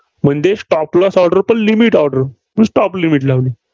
म्हणजे stop loss order पण limit order म्हणून stop limit लावली.